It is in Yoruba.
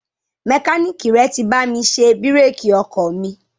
Mẹkáníìkì rẹ ti bá mi ṣe bírèkì ọkọ̀ mi.